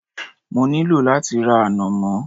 Mo ní lò láti ra ànàmọ́